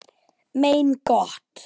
Mein Gott!